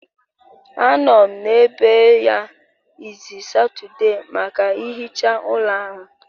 Anọ m n'ebe ya izu Satọde maka nhicha ụlọ ahụ